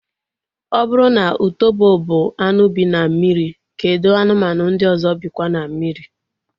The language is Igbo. Ọ bụrụ na utobo bụ anụ bi na mmiri, kedụ anụmanụ ndị ọzọ bikwa na mmiri?